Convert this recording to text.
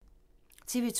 TV 2